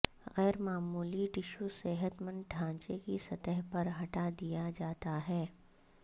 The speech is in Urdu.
غیر معمولی ٹشو صحت مند ڈھانچے کی سطح پر ہٹا دیا جاتا ہے